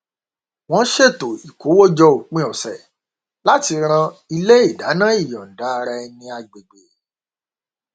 wọn ṣètò ìkówójọ òpin ọsẹ láti ran ilé ìdáná ìyọnda ara ẹni agbègbè